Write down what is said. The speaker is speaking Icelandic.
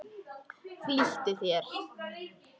Flýttu þér.